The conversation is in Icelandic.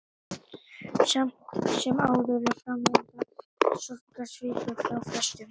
Samt sem áður er framvinda sorgar svipuð hjá flestum.